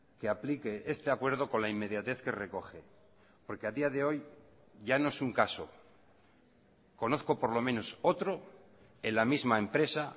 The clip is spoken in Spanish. que aplique este acuerdo con la inmediatez que recoge porque a día de hoy ya no es un caso conozco por lo menos otro en la misma empresa